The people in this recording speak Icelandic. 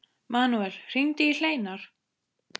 Manuel, hringdu í Hleinar.